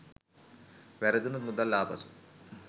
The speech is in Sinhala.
වැරදුනොත් මුදල් ආපසු